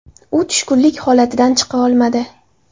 U tushkunlik holatidan chiqa olmadi.